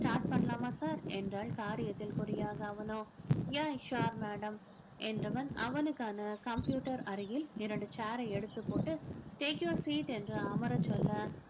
start பண்ணலாமா sir என்றால் காரியத்தில் குறியாக அவனோ yeah sure madam என்பவன் அவனுக்கான computer அருகில் இரண்டு chair ஐ எடுத்துப்போட்டு take your seat என்று அமரச் சொல்ல